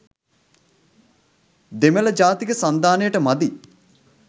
දෙමළ ජාතික සන්ධානයට මදි.